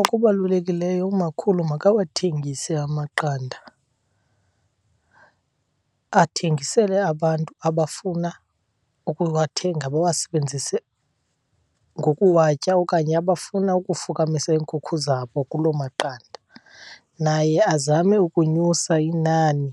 Okubalulekileyo, umakhulu makawathengise amaqanda athengisele abantu abafuna ukuwathenga, bawasebenzise ngokuwatya okanye abafuna ukufukamisa iinkukhu zabo kuloo maqanda. Naye azame ukunyusa inani